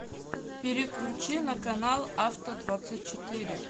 переключи на канал авто двадцать четыре